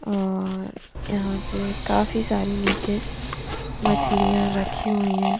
और यहाँ पे काफी सारी निचे मछलिया रखी हुयी है ।